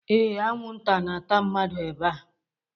Ee, anwụnta na-ata mmadụ ebea.